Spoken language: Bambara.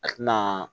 A tina